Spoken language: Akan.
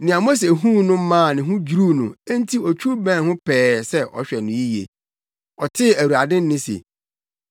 Nea Mose huu no maa ne ho dwiriw no enti otwiw bɛn ho pɛɛ sɛ ɔhwɛ no yiye. Ɔtee Awurade nne se,